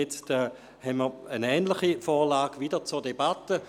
Jetzt steht wieder eine ähnliche Vorlage zur Debatte.